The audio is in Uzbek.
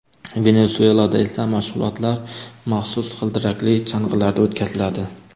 Venesuelada esa mashg‘ulotlar maxsus g‘ildirakli chang‘ilarda o‘tkaziladi.